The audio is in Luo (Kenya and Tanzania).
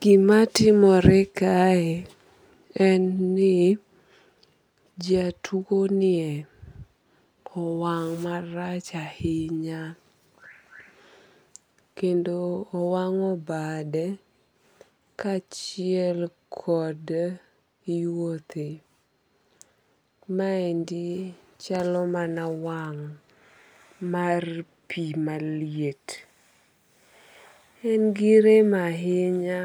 Gima timore kae en ni jatuo nie owang' marach ahinya. Kendo owang'o bade kachiel kod yuothe. Maendi chalo mana wang' mar pi maliet. En gi rem ahinya